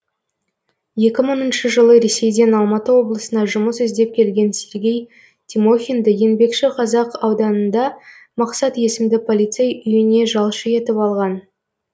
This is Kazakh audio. екі мыңыншы жылы ресейден алматы облысына жұмыс іздеп келген сергей тимохинді еңбекшіқазақ ауданында мақсат есімді полицей үйіне жалшы етіп алған